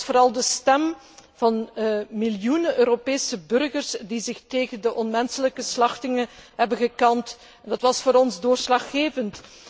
Vooral de stem van miljoenen Europese burgers die zich tegen de onmenselijke slachtingen hebben gekant, was voor ons doorslaggevend.